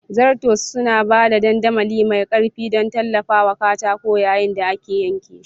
Zarto suna ba da dandamali mai ƙarfi don tallafawa katako yayin da ake yanke shi.